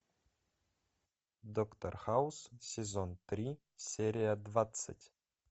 доктор хаус сезон три серия двадцать